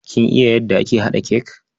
Kin yadda ake haɗa cake?